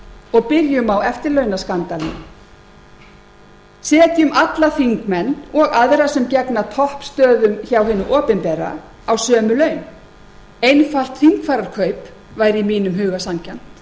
og byrjum á eftirlaunaskandalnum setjum alla þingmenn og aðra sem gegna toppstöðum hjá hinu opinbera á sömu laun einfalt þingfararkaup væri í mínum huga sanngjarnt